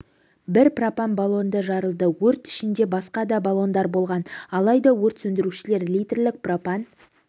бір пропан баллоны жарылды өрт ішінде басқа да баллондар болған алайда өрт сөндірушілер литрлік пропан